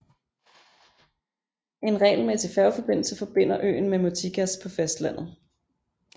En regelmæssig færgeforbindelse forbinder øen med Mytikas på fastlandet